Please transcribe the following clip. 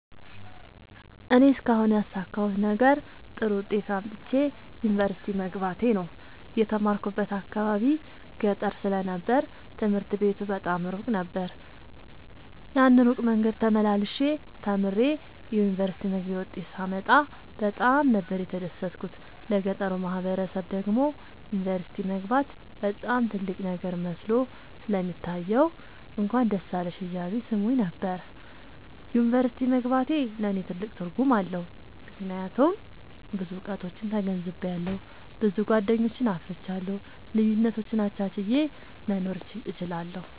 እኔ እስካሁን ያሣካሁት ነገር ጥሩ ዉጤት አምጥቼ ዩኒቨርሲቲ መግባቴ ነዉ። የተማርኩበት አካባቢ ገጠር ስለ ነበር ትምህርት ቤቱ በጣም እሩቅ ነበር። ያን እሩቅ መንገድ ተመላልሸ ተምሬ የዩኒቨርሲቲ መግቢያ ዉጤት ሳመጣ በጣም ነበር የተደሠትኩት ለገጠሩ ማህበረሠብ ደግሞ ዩኒቨርሲቲ መግባት በጣም ትልቅ ነገር መስሎ ስለሚታየዉ እንኳን ደስ አለሽ እያሉ ይሥሙኝ ነበር። ዩኒቨርሢቲ መግባቴ ለኔ ትልቅ ትርጉም አለዉ። ምክያቱም ብዙ እዉቀቶችን ተገንዝቤአለሁ። ብዙ ጎደኞችን አፍርቻለሁ። ልዩነቶችን አቻችየ መኖር እችላለሁ።